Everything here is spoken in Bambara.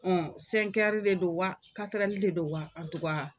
Ɔn de don wa de don wa